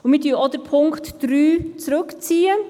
Sind Sie einverstanden, wenn wir gleichzeitig abschreiben?